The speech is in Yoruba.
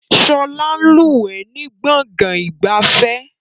Sọlá ń lúwẹ̀ ni gbọ̀ngàn ìgbafẹ́